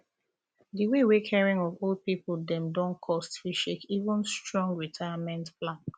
the way wey the caring of old pipu dem don coste fit shake even strong retirement plan